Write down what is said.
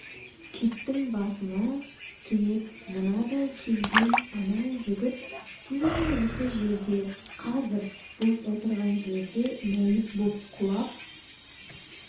киттің басына кенет мынадай келген анау жігіт тура осы жерде қазір бұл отырған жерде мәйіт боп құлап